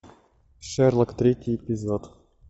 шерлок третий эпизод